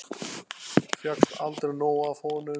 Fékkst aldrei nóg af honum.